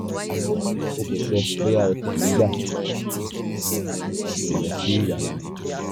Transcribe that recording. o kò sọ bóyá o tọ̀ nígbà tí o lọ sí yàrá ìgbọ̀nsẹ̀